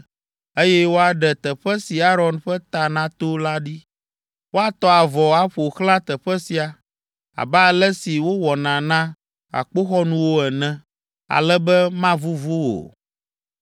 eye woaɖe teƒe si Aron ƒe ta nato la ɖi. Woatɔ avɔ aƒo xlã teƒe sia, abe ale si wowɔna na akpoxɔnuwo ene, ale be mavuvu o.